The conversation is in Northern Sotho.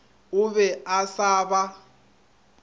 o be a sa ba